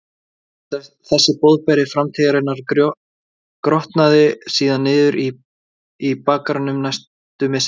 Þessi boðberi framtíðarinnar grotnaði síðan niður í bakgarðinum næstu misserin.